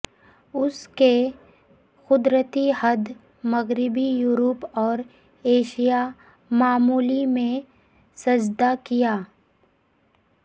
اس کے قدرتی حد مغربی یورپ اور ایشیا معمولی میں سجدہ کیا